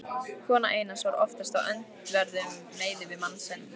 Kona Einars var oftast á öndverðum meiði við mann sinn.